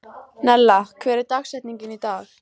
Nella, hver er dagsetningin í dag?